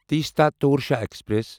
Teesta Torsa express